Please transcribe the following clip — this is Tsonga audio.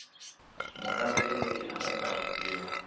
mukamberi loyi a nga tsarisiwa